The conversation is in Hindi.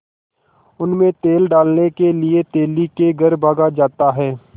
उनमें तेल डालने के लिए तेली के घर भागा जाता है